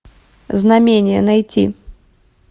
знамение найти